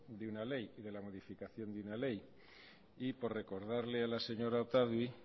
de una ley de la modificación de una ley y por recordarle a la señora otadui